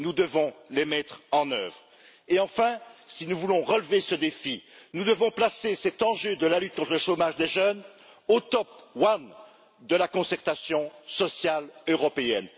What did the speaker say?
Nous devons les mettre en œuvre et, enfin, si nous voulons relever ce défi, nous devons placer l'enjeu de la lutte contre le chômage des jeunes au top one de la concertation sociale européenne.